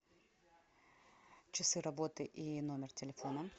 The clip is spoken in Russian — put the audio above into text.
часы работы и номер телефона